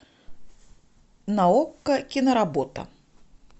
на окко киноработа